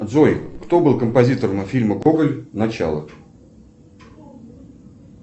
джой кто был композитором фильма гоголь начало